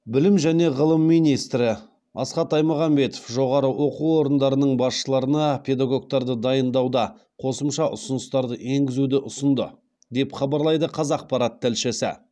білім және ғылым министрі асхат аймағамбетов жоғары оқу орындарының басшыларына педагогтарды дайындауда қосымша ұсыныстарды енгізуді ұсынды деп хабарлайды қазақпарат тілшісі